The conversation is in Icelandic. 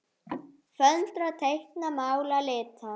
Föndra- teikna- mála- lita